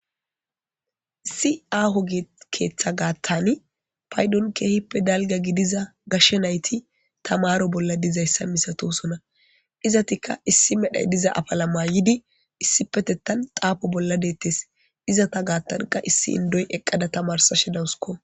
Issi aaho keta gatan paydon keehippe dalga gidiza gashe nayti tamaro bolla dizaysa masatosona. Izetika issi medho apala mayid issipetetan xafo bolla detes. Izeta gatanka issi Indoy eqada tamarsashe dawusko.